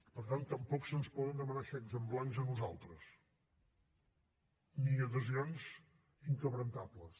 per tant tampoc se’ns poden demanar xecs en blanc a nosaltres ni adhesions indestructibles